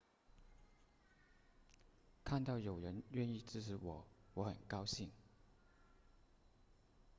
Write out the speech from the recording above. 看到有人愿意支持我我很高兴